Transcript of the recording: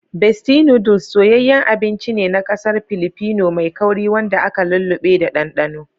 Bestie Noodles soyayyen abinci ne nakasar Pilipino mai kauri wanda aka lulluɓe da ɗanɗano.